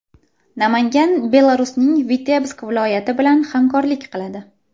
Namangan Belarusning Vitebsk viloyati bilan hamkorlik qiladi.